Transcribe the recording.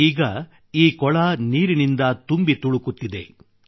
ಈಗ ಕೊಳ ನೀರಿನಿಂದ ತುಂಬಿ ತುಳುಕುತ್ತಿದೆ